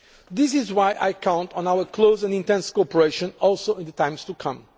them. This is why I count on our close and intense cooperation also in the times